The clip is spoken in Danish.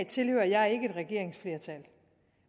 tilhører jeg ikke et regeringsflertal